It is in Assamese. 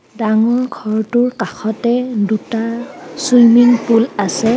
ডাঙৰ ঘৰটোৰ কাষতে দুটা চুইমিং পুল আছে.